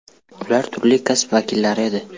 Ular turli kasb vakillari edi.